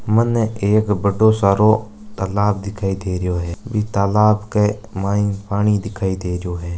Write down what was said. मने एक बड़ो सरो तालाब दिखाय दे रहियो है मन तालाब के माई पानी दिखाय दे रहियो है।